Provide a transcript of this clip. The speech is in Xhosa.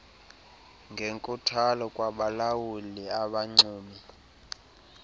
ngenkuthalo kwabalawuli abanxumi